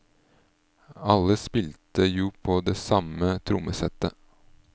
Alle spilte jo på det samme trommesettet.